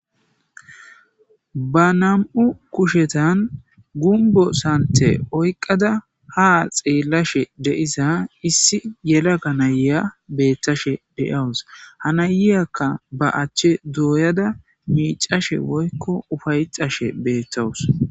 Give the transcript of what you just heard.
Ba nam7u kushetan gumbo sante oyqqada ha xeellashe deisa issi yela ga nayeya beettashe deyawus ha nayiyakka ba achche dooyada miicashe woykko ufaycashe beettawus.